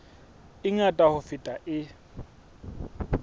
e ngata ho feta e